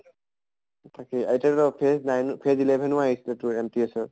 তাকে এতিয়া টো phase nine phase eleven আহিছিলে তোৰ MTS ৰ